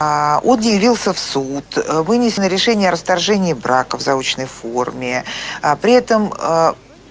он не явился в суд вынесено решение о расторжении брака в заочной форме а при этом